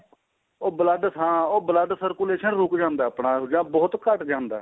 ਉਹ blood ਹਾਂ ਉਹ blood circulation ਰੁੱਕ ਜਾਂਦਾ ਏ ਆਪਣਾ ਜਾ ਬਹੁਤ ਘੱਟ ਜਾਂਦਾ